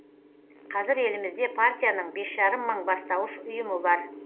қазір елімізде партияның бес жарым мың бастауыш ұйымы бар